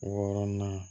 Wɔɔrɔnan